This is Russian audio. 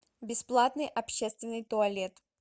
бесплатный общественный туалет